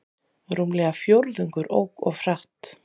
Rúmlega fjórðungur ók of hratt